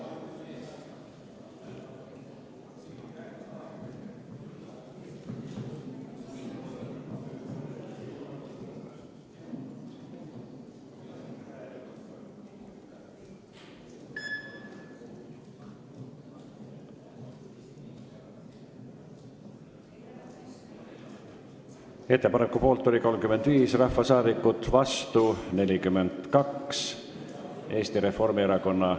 Hääletustulemused Ettepaneku poolt hääletas 30 rahvasaadikut, vastu 42, erapooletuks ei jäänud keegi.